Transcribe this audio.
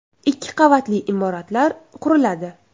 Ikki qavatli imoratlar quriladi.